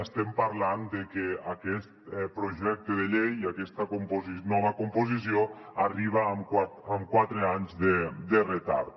estem parlant de que aquest projecte de llei i aquesta nova composició arriben amb quatre anys de retard